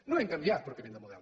no hem canviat pròpiament de model